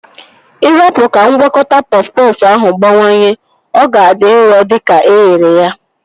Ị rapu ka ngwakọta pọf pọfụ ahụ gbawanye, ọ ga-adị nro dịka eghere ya